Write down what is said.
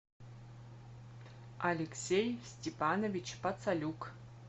алексей степанович пацалюк